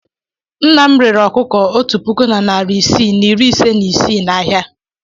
Nna m rere ọkụkọ otu puku na narị isii na iri ise na ise n'ahịa.